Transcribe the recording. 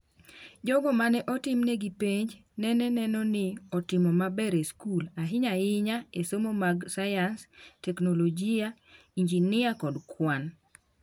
Jogo mane otimnegi penj nene neno ni otimo maber e skul, ahinya ahinya e somo mag sayans, teknolojia, injinia kod kwan.